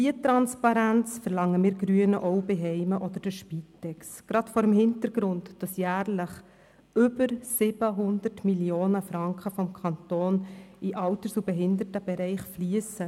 Diese Transparenz verlangen wir Grünen auch bei Heimen oder bei der Spitex – gerade vor dem Hintergrund, dass vom Kanton jährlich über 700 Mio. Franken in den Alters- und Behindertenbereich fliessen.